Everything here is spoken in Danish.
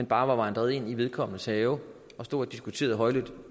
bare var vandret ind i vedkommendes have og stod og diskuterede højlydt